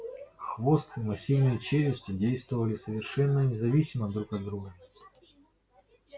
хвост и массивные челюсти действовали совершенно независимо друг от друга